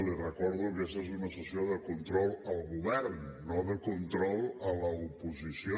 li recordo que aquesta és una sessió de control al govern no de control a l’oposició